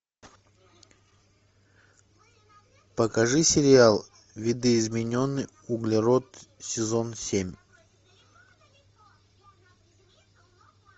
покажи сериал видоизмененный углерод сезон семь